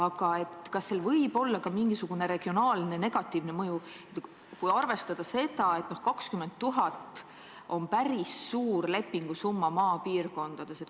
Aga kas sel muudatusel võib olla ka mingisugune negatiivne regionaalne mõju, kui arvestada seda, et 20 000 eurot on maapiirkondade kohta päris suur lepingusumma?